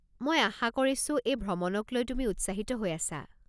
মই আশা কৰিছোঁ এই ভ্ৰমণক লৈ তুমি উৎসাহিত হৈ আছা।